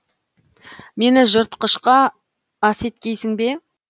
мені жыртқышқа ас еткейсің бе